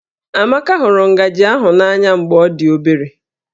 Amaka hụrụ ngaji ahụ n'anya mgbe ọ dị obere